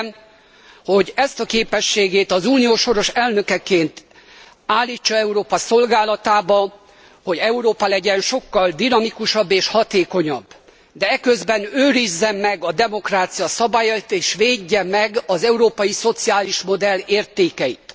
Kérem, hogy ezt a képességét az Unió soros elnökeként állítsa Európa szolgálatába, hogy Európa legyen sokkal dinamikusabb és hatékonyabb, de eközben őrizze meg a demokrácia szabályait és védje meg az európai szociális modell értékeit.